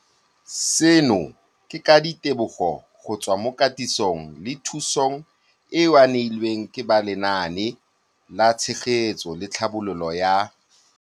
Seno ke ka ditebogo go tswa mo katisong le thu song eo a e neilweng ke ba Lenaane la Tshegetso le Tlhabololo ya.